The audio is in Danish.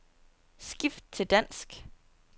Skift til dansk.